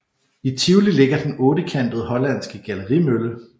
I Tivoli ligger den ottekantede hollandske gallerimølle